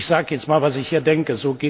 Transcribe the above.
Ich sage jetzt mal, was ich hier denke.